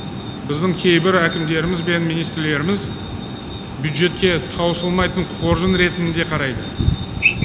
біздің кейбір әкімдеріміз бен министрлеріміз бюджетке таусылмайтын қоржын ретінде қарайды